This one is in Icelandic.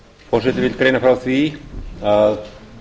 forseti vill greina frá því að